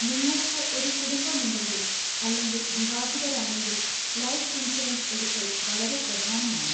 നിങ്ങൾക്ക് ഒരു കുടുംബമുണ്ടെങ്കിൽ അല്ലെങ്കിൽ വിവാഹിതരാണെങ്കിൽ ലൈഫ് ഇൻഷുറൻസ് എടുക്കൽ വളരെ പ്രധാനമാണ്.